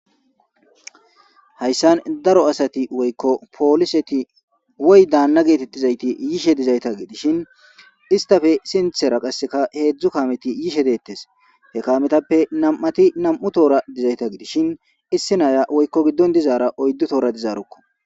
hayssan daro asati woykko pooliseti woy daanna geetettizayti yishe dizayta gidishin istafe sinthera qasseka heedzdzu kameti yishe deettes he kametappe nam7ati nam7u toora dizayta gidishin issi naya woykko biddon dizaara oyddu toora dizaarukko